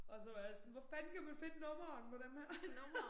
Og så var sådan hvor fanden kan man finde nummeret på denne her